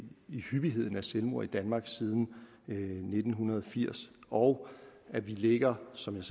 i hyppigheden af selvmord i danmark siden nitten firs og at vi ligger som jeg